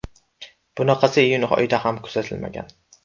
Bunaqasi iyun oyida ham kuzatilmagan.